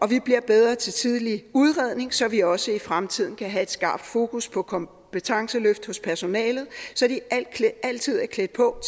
vi bliver bedre til tidlig udredning så vi også i fremtiden kan have et skarpt fokus på kompetenceløft hos personalet så de altid er klædt på